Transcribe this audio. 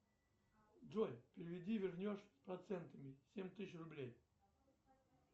джой переведи вернешь с процентами семь тысяч рублей